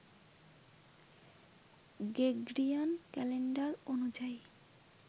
Gregorian calendar অনুযায়ী